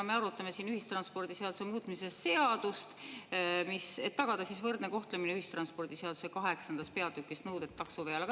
No me arutame siin ühistranspordiseaduse muutmise seadust, et tagada võrdne kohtlemine ühistranspordiseaduse kaheksandas peatükis "Nõuded taksoveol".